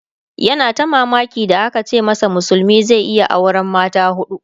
yana ta mamaki da aka ce masa musulmi zai iya auran mata hudu